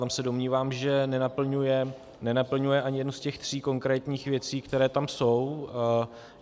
Tam se domnívám, že nenaplňuje ani jednu z těch tří konkrétních věcí, které tam jsou.